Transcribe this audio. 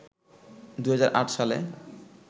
২০০৮ সালে